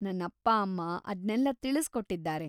ನನ್‌ ಅಪ್ಪ-ಅಮ್ಮ ಅದ್ನೆಲ್ಲ ತಿಳಿಸ್ಕೊಟ್ಟಿದ್ದಾರೆ.